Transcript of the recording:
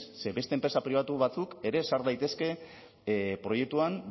ze beste enpresa pribatu batzuk ere sar daitezke proiektuan